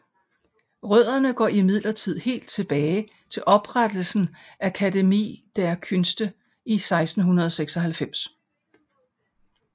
Rødderne går imdidlertid helt tilbage til oprettelsen af Akademie der Künste i 1696